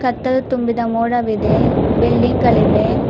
ಕತ್ತಲು ತುಂಬಿದ ಮೋಡವಿದೆ ಬಿಲ್ಡಿಂಗ್ ಗಳಿವೆ.